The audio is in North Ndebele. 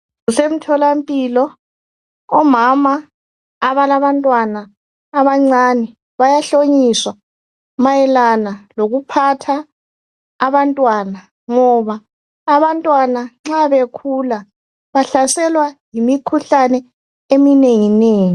Kusemtholampilo omama abalabantwana abancane bayahlonyiswa mayelana lokuphatha abantwana ngoba abantwana nxa bekhula bahlaselwa yimikhuhlane eminengi nengi.